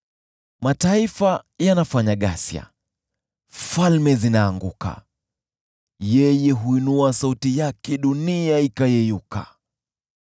Mataifa yanafanya ghasia, falme zinaanguka, Yeye huinua sauti yake, dunia ikayeyuka.